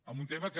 amb un tema que